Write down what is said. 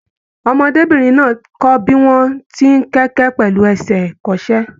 Ọmọdébinrin náà kọ bí wọn tí n kẹkẹ pẹlu ẹsẹ ikọ́sẹ̀.